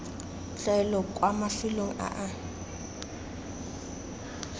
tlwaelo kwa mafelong a a